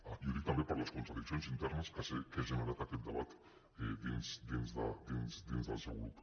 ah i ho dic també per les contradiccions internes que sé que ha generat aquest debat dins del seu grup